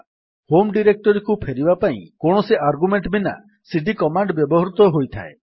home ଡିରେକ୍ଟୋରୀକୁ ଫେରିବା ପାଇଁ କୌଣସି ଆର୍ଗ୍ୟୁମେଣ୍ଟ୍ ବିନା ସିଡି କମାଣ୍ଡ୍ ବ୍ୟବହୃତ ହୋଇଥାଏ